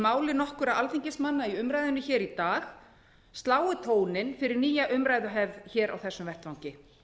máli nokkurra alþingismanna í umræðunni í dag slái tóninn fyrir nýja umræðuhefð á þessum vettvangi